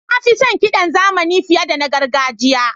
Na fi son kiɗan zamani fiye da na gargajiya.